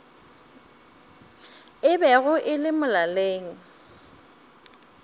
e bego e le molaleng